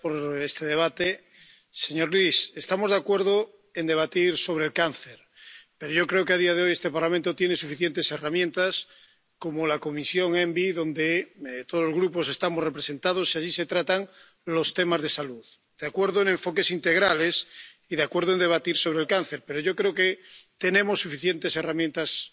Señor presidente, señor Liese, estamos de acuerdo en debatir sobre el cáncer, pero yo creo que, a día de hoy, este Parlamento tiene suficientes herramientas, como la Comisión ENVI, donde todos los grupos estamos representados y donde se tratan los temas de salud. Estoy de acuerdo con los enfoques integrales y con debatir sobre el cáncer, pero yo creo que tenemos suficientes herramientas para